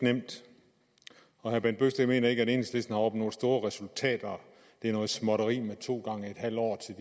nemt herre bent bøgsted mener ikke at enhedslisten har opnået store resultater det er noget småtteri med to gange en halv år til